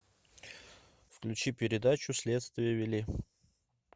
включи передачу следствие вели